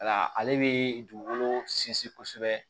Wala ale bɛ dugukolo sinsin kosɛbɛ